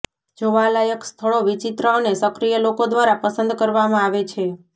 જોવા લાયક સ્થળો વિચિત્ર અને સક્રિય લોકો દ્વારા પસંદ કરવામાં આવે છે